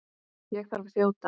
Ég þarf að þjóta.